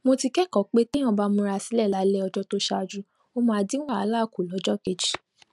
mo ti kékòó pé téèyàn bá ń múra sílè lálé ọjó tó ṣáájú ó máa dín wàhálà kù lójó kejì